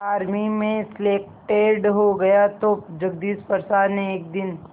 army में selected हो गया तो जगदीश प्रसाद ने एक दिन